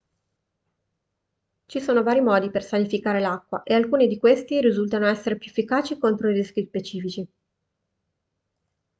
ci sono vari modi per sanificare l'acqua e alcuni di questi risultano essere più efficaci contro rischi specifici